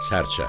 Sərçə.